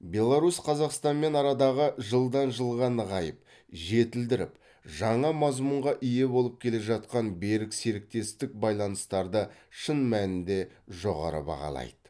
беларусь қазақстанмен арадағы жылдан жылға нығайып жетілдіріліп жаңа мазмұнға ие болып келе жатқан берік серіктестік байланыстарды шын мәнінде жоғары бағалайды